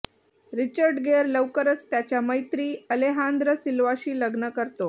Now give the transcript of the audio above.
Richard Gere लवकरच त्याच्या मैत्री अलेहांद्र सिल्वाशी लग्न करतो